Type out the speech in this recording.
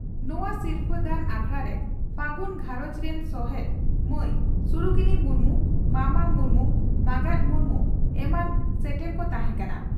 ᱱᱚᱣᱟ ᱥᱤᱨᱯᱷᱟᱹ ᱫᱟᱱ ᱟᱠᱷᱲᱟᱨᱮ ᱯᱷᱟᱹᱜᱩᱱ ᱜᱷᱟᱨᱚᱸᱡᱽ ᱨᱤᱱᱥᱚᱦᱮᱛ ᱢᱟᱹᱭ ᱥᱩᱨᱩᱠᱤᱱᱤ ᱢᱩᱨᱢᱩ, ᱢᱟᱢᱟ ᱢᱩᱨᱢᱩ, ᱢᱟᱸᱜᱟᱛ ᱢᱩᱨᱢᱩ ᱮᱢᱟᱱ ᱥᱮᱴᱮᱨ ᱠᱚ ᱛᱟᱦᱮᱸ ᱠᱟᱱᱟ ᱾